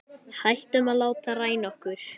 Hættum að láta ræna okkur.